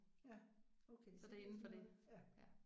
Ja okay så det er sådan noget ja